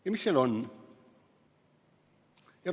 Ja mis seal on?